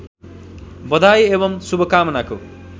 बधाई एवं शुभकामनाको